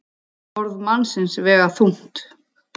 Orð mannsins vega þungt.